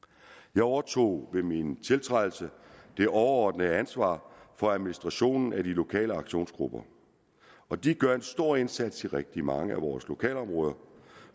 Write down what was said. jeg overtog ved min tiltrædelse det overordnede ansvar for administrationen af de lokale aktionsgrupper og de gør en stor indsats i rigtig mange af vores lokalområder